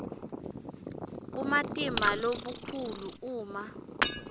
bumatima lobukhulu uma